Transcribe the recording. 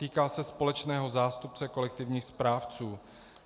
Týká se společného zástupce kolektivních správců.